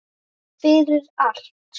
Fyrir allt.